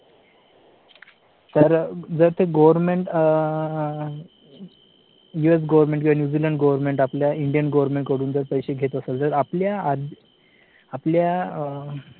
तर जर ते government यू. एस. government किंवा न्यूझीलंड government आपल्या Indian government कडून पैसे घेत असेल तर आपल्या आपल्या